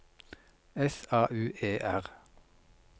S A U E R